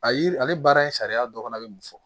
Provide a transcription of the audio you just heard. A yiri ale baara in sariya dɔ fana bɛ mun fɔ